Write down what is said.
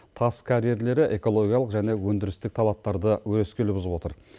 тас карьерлері экологиялық және өндірістік талаптарды өрескел бұзып отыр